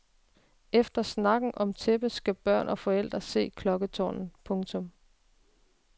Efter snakken om tæppet skal børn og forældre se klokketårnet. punktum